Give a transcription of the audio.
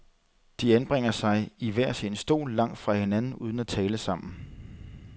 De anbringer sig i hver sin stol, langt fra hinanden uden at tale sammen.